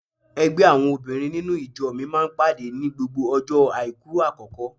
Ẹgbẹ́ àwọn obìnrin nínú ìjọ mi máa ń pàdé ní gbogbo ọjọ́ àìkú àkọ́kọ́.